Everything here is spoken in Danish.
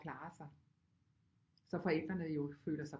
At klare sig så forældrene jo føler sig